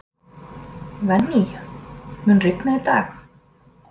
Venný, mun rigna í dag?